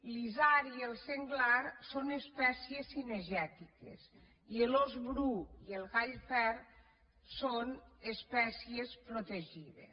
l’isard i el senglar són espècies cinegètiques i l’ós bru i el gall fer són espècies protegides